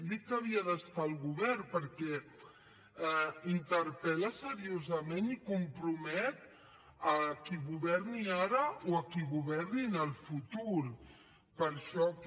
dic que hi havia d’estar al govern perquè interpel·la seriosament i compromet a qui governi ara o a qui governi en el futur per això que